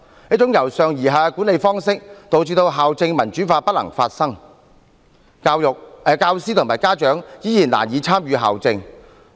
這種由上而下的管理方式，導致校政民主化不能發生，教師和家長依然難以參與校政。